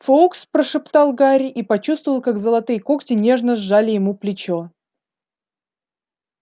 фоукс прошептал гарри и почувствовал как золотые когти нежно сжали ему плечо